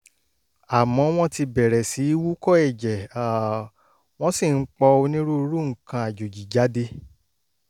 àmọ́ wọ́n ti bẹ̀rẹ̀ sí í wúkọ́ ẹ̀jẹ̀ um wọ́n sì ń pọ̀ onírúurú nǹkan àjòjì jáde